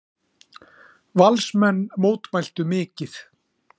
Valsmenn mótmæltu mikið.